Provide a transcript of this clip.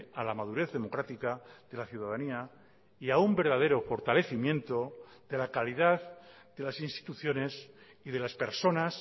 a la madurez democrática de la ciudadanía y a un verdadero fortalecimiento de la calidad de las instituciones y de las personas